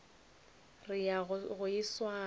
re ya go e swara